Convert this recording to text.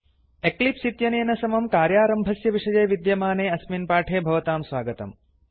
Eclipse इत्यनेन समं कार्यारम्भस्य विषये विद्यमाने अस्मिन् पाठे भवतां स्वागतम्